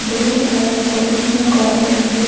தூரத்துல ஒரு சின்ன கொளோ தெரியிது.